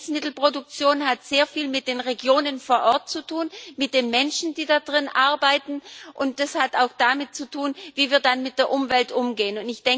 Lebensmittelproduktion hat sehr viel mit den Regionen vor Ort zu tun, mit den Menschen, die darin arbeiten, und das hat auch damit zu tun, wie wir dann mit der Umwelt umgehen.